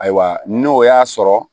Ayiwa n'o y'a sɔrɔ